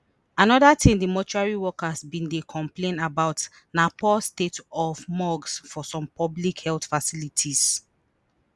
anoda tin di mortuary workers bin dey complain about na poor state of morgues for some public health facilities